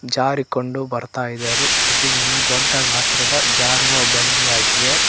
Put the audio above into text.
ಜಾರಿಕೊಂಡು ಬರ್ತಾ ಇದಾರೆ ಇದು ಒಂದು ದೊಡ್ಡ ಗಾತ್ರದ ಜಾರುವ ಬಂಡೆಯಾಗಿವೆ.